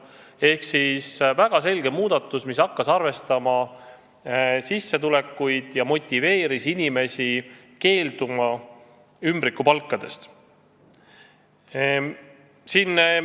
Tehti väga selge muudatus: hakati arvestama sissetulekuid, mis motiveeris inimesi keelduma ümbrikupalkadest.